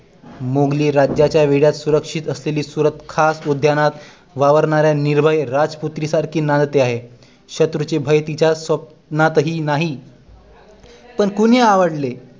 मोघली राज्याचा वेढ्यात सुरक्षित असलेली सुरत खास उद्यानांत वावरणाऱ्या निर्भय राजपुत्री सारखी नांदते आहे शत्रूचे भय तिच्या स्वप्नात ही नाही पण कोणी अडवले